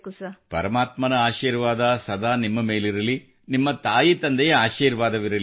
ಪರಮಾತ್ಮನ ಆಶೀರ್ವಾದ ಸದಾ ನಿಮ್ಮ ಮೇಲಿರಲಿ ನಿಮ್ಮ ತಾಯಿತಂದೆಯ ಆಶೀರ್ವಾದವಿರಲಿ